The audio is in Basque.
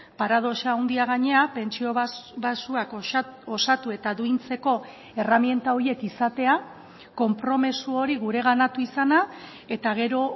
paradoxa handia gainera pentsio baxuak osatu eta duintzeko erreminta horiek izatea konpromiso hori gureganatu izana eta gero